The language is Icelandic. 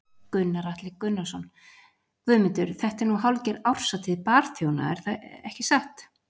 Gunnar Atli Gunnarsson: Guðmundur þetta er nú hálfgerð árshátíð barþjóna ekki satt?